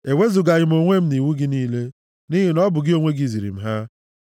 Ewezugaghị m onwe m nʼiwu gị niile, nʼihi na ọ bụ gị onwe gị ziri m ha.